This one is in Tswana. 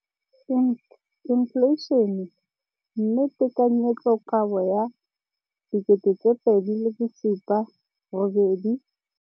Infleišene, mme tekanyetsokabo ya 2017, 18, e magareng ga R6.4 bilione.